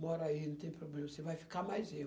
Mora aí, não tem problema, você vai ficar mais eu.